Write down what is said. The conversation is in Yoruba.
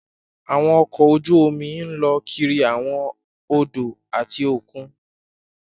Àwọn ọkọ ojú omi lọ kiri awọn odò ati okùn